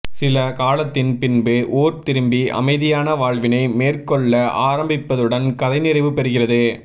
சில காலத்தின் பின்பு ஊர் திரும்பி அமைதியான வாழ்வினை மேற்கொள்ள ஆரம்பிப்பதுடன் கதை நிறைவு பெறுகிறது